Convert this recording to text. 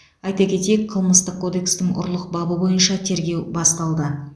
айта кетейік қылмыстық кодекстің ұрлық бабы бойынша тергеу басталды